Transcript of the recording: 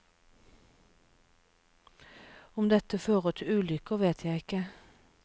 Om dette førte til ulykker, vet jeg ikke.